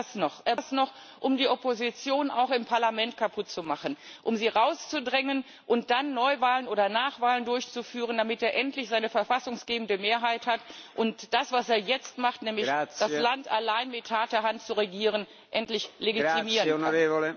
Er braucht das noch, um die Opposition auch im Parlament kaputtzumachen, um sie rauszudrängen und dann Neuwahlen oder Nachwahlen durchzuführen, damit er endlich seine verfassungsgebende Mehrheit hat und das, was er jetzt macht, nämlich das Land allein mit harter Hand zu regieren, endlich legitimieren kann.